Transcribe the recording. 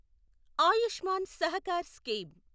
Ayushman Sahakar scheme